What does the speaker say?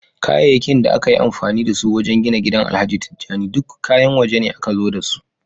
Kayayyakin da aka yi amfani da su wajen gina gidan alhaji tijjani duk kayan wajene aka zo dasu